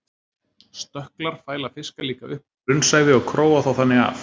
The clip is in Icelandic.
Stökklar fæla fiska líka upp á grunnsævi og króa þá þannig af.